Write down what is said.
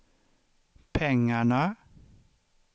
pengarna